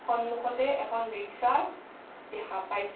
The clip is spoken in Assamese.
সন্মুখতে এখন ৰিক্সা দেখা পাইছোঁ।